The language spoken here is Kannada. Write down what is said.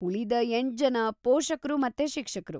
ಉಳಿದ ಎಂಟ್ಜನ ಪೋಷಕ್ರು ಮತ್ತೆ ಶಿಕ್ಷಕ್ರು.